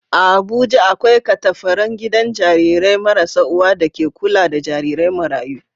A Abuja, akwai katafaren gidan jarirai marasa uwa da ke kula da jarirai marayu.